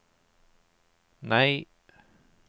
nei